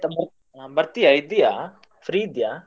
ಬರ್ತೀಯಾ ಇದ್ದೀಯಾ free ಇದ್ಯಾ?